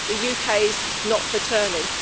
The UK is not for turning.